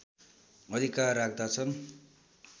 अधिकार राख्दछन्